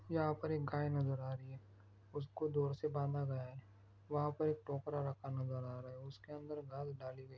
यहां पर एक गाय नजर आ रही है उसको दोर से बांधा गया है वहां पर एक टोकरा रखा नजर आ रहा है। उसके अंदर घास दाली गई--